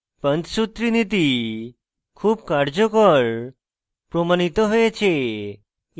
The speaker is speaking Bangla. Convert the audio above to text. panchsutri নীতি খুব কার্যকর প্রমাণিত হয়েছে